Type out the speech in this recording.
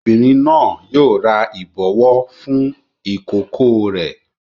Obìnrin náà yóò ra ìbọwọ́ fún ìkókó rẹ̀.